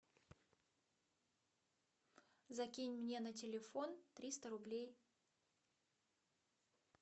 закинь мне на телефон триста рублей